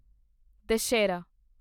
Dussehra